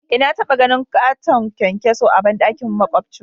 Eh na taba ganin katon kyankyaso a bandakin makwabcin mu.